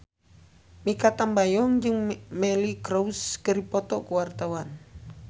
Mikha Tambayong jeung Miley Cyrus keur dipoto ku wartawan